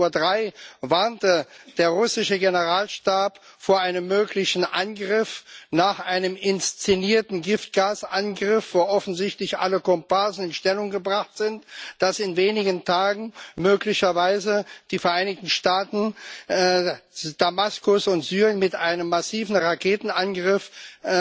13.03 Uhr warnte der russische Generalstab vor einem möglichen Angriff nach einem inszenierten Giftgasangriff, wo offensichtlich alle Komparsen in Stellung gebracht sind, dass in wenigen Tagen möglicherweise die Vereinigten Staaten Damaskus und Syrien mit einem massiven Raketenangriff angreifen wollen.